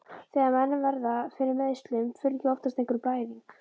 Þegar menn verða fyrir meiðslum, fylgir oftast einhver blæðing.